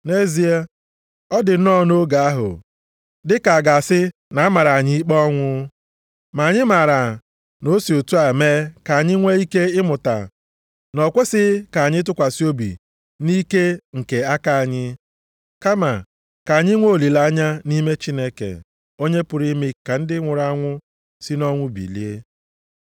Nʼezie, ọ dị nnọọ nʼoge ahụ, dịka a ga-asị na a mara anyị ikpe ọnwụ. Ma anyị maara na o si otu a mee ka anyị nwee ike ịmụta na o kwesighị ka anyị tụkwasị obi nʼike nke aka anyị, kama ka anyị nwee olileanya nʼime Chineke, onye pụrụ ime ka ndị nwụrụ anwụ si nʼọnwụ bilie.